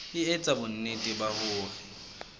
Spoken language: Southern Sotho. e etsa bonnete ba hore